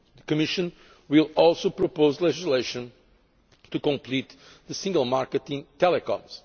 key. The Commission will also propose legislation to complete the single market in telecoms.